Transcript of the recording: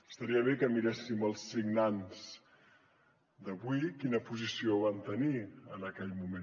estaria bé que miréssim els signants d’avui quina posició van tenir en aquell moment